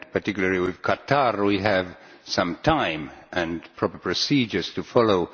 Particularly with Qatar, we have some time and proper procedures to follow.